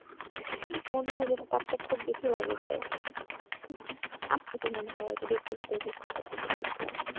মনে হয় যেন তাপটা খুব বেশি লাগে গায়ে তাই? হম আপনি তো মনে হয় আরকি